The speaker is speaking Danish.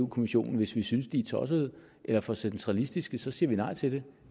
kommissionen hvis vi synes de er tossede eller for centralistiske så siger vi nej til dem